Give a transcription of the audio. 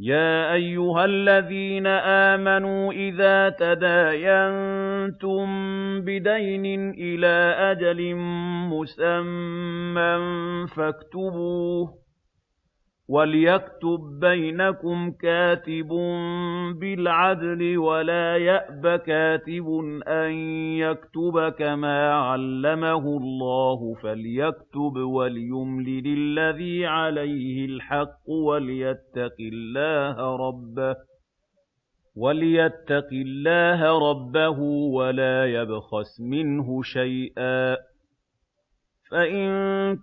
يَا أَيُّهَا الَّذِينَ آمَنُوا إِذَا تَدَايَنتُم بِدَيْنٍ إِلَىٰ أَجَلٍ مُّسَمًّى فَاكْتُبُوهُ ۚ وَلْيَكْتُب بَّيْنَكُمْ كَاتِبٌ بِالْعَدْلِ ۚ وَلَا يَأْبَ كَاتِبٌ أَن يَكْتُبَ كَمَا عَلَّمَهُ اللَّهُ ۚ فَلْيَكْتُبْ وَلْيُمْلِلِ الَّذِي عَلَيْهِ الْحَقُّ وَلْيَتَّقِ اللَّهَ رَبَّهُ وَلَا يَبْخَسْ مِنْهُ شَيْئًا ۚ فَإِن